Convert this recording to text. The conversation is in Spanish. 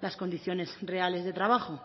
las condiciones reales de trabajo